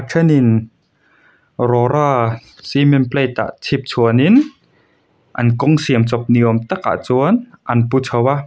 thenin rora cement plate ah chhipchhuanin an kawng siam chawp ni awm takah chuan an pu chho a.